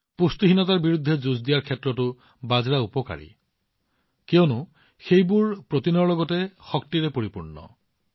পুষ্টিহীনতাৰ বিৰুদ্ধে যুঁজ দিয়াত বাজৰাবোৰো যথেষ্ট উপকাৰী কিয়নো সেইবোৰ প্ৰটিনৰ লগতে শক্তিৰে পৰিপূৰ্ণ